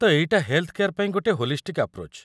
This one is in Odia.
ତ ଏଇଟା ହେଲ୍‌ଥ୍‌ କେୟାର୍‌ ପାଇଁ ଗୋଟେ ହୋଲିଷ୍ଟିକ୍ ଆପ୍ରୋଚ୍ ।